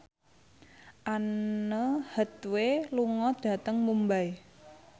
Anne Hathaway lunga dhateng Mumbai